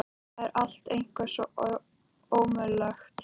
Það er allt eitthvað svo ómögulegt hérna.